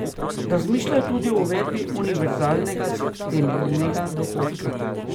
Razmišljajo tudi o uvedbi univerzalnega temeljnega dohodka.